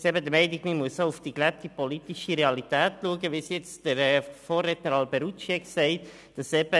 Ich bin der Meinung, dass man auch auf die gelebte politische Realität schauen muss, wie es der Vorredner Luca Alberucci gesagt hat.